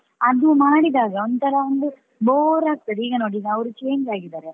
ಅದು ಮಾಡಿದಾಗ ಒಂಥರಾ ಒಂದು bore ಆಗ್ತದೆ ಈಗ ನೋಡಿ ಅವರು change ಆಗಿದ್ದಾರೆ.